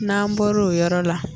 N'an bɔr'o yɔrɔ la.